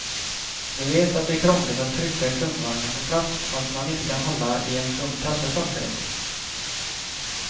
De vet att det är krångligt att trycka kundvagnen på plats och att man inte kan hålla i en tung kasse samtidigt.